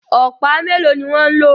Ọ̀pá melo ní wan ló